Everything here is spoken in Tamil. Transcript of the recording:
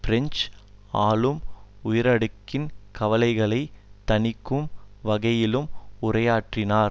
பிரெஞ்சு ஆளும் உயரடுக்கின் கவலைகளை தணிக்கும் வகையிலும் உரையாற்றினார்